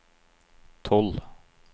tolv